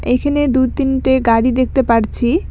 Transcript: এইখানে দু-তিনটে গাড়ি দেখতে পারছি।